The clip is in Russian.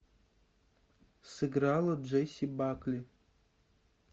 сыграла джесси бакли